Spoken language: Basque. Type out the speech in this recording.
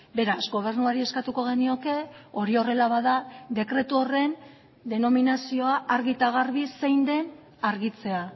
beraz gobernuari eskatuko genioke hori horrela bada dekretu horren denominazioa argi eta garbi zein den argitzea